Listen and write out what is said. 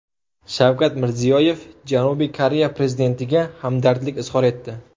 Shavkat Mirziyoyev Janubiy Koreya prezidentiga hamdardlik izhor etdi.